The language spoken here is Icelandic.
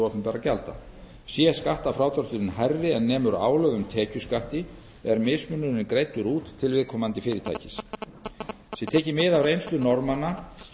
opinberra gjalda sé skattfrádrátturinn hærri en nemur álögðum tekjuskatti er mismunurinn greiddur út til viðkomandi fyrirtækis sé tekið mið af reynslu norðmanna